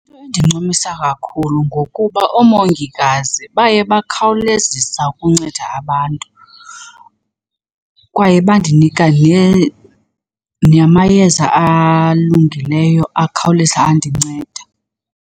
Into endincumisa kakhulu ngokuba oomongikazi baye bakhawulezisa ukunceda abantu kwaye bandinika namayeza alungileyo akhawuleza andinceda.